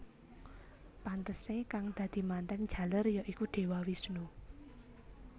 Pantesé kang dadi mantèn jaler ya iku Dewa Wisnu